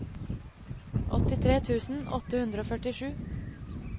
åttitre tusen åtte hundre og førtisju